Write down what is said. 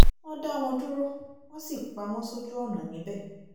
wọ́n dá wọn dúró wọ́n sì pa wọ́n sójú ọ̀nà níbẹ̀